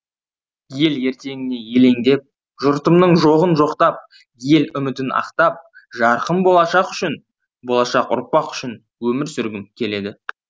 ел ертеңіне елеңдеп жұртымның жоғын жоқтап ел үмітін ақтап жарқын болашақ үшін болашақ ұрпақ үшін өмір сүргім келеді